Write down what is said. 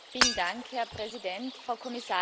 Herr Präsident, Frau Kommissarin!